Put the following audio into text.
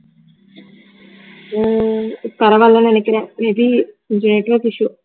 ஹம் பரவால்லன்னு நினைக்கிறேன் may be கொஞ்சம் network issue